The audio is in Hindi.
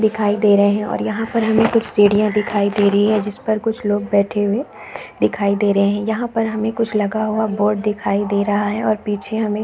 दिखाई दे रहे है और यहाँ पर हमे कुछ सीढ़ियाँ दिखाई दे रही है जिस पर कुछ लोग बैठे हुए दिखाई दे रहे है यहाँ पर हमे कुछ लगा हुआ बोर्ड दिखाई दे रहा है और पीछे हमे--